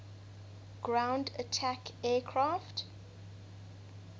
ground attack aircraft